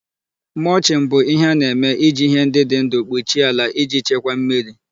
Mulching bụ ihe a na-eme iji ihe ndị dị ndụ kpuchie ala iji chekwaa mmiri.